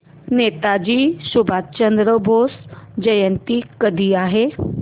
नेताजी सुभाषचंद्र बोस जयंती कधी आहे